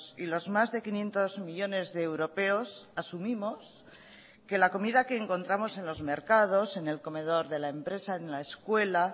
y los más de quinientos millónes de europeos asumimos que la comida que encontramos en los mercados en el comedor de la empresa en la escuela